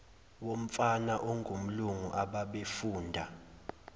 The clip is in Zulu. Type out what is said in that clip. womfana ongumlungu ababefunda